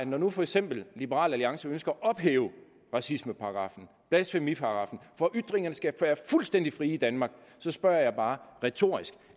når nu for eksempel liberal alliance ønsker at ophæve racismeparagraffen og blasfemiparagraffen for at ytringerne skal være fuldstændig frie i danmark så spørger jeg bare retorisk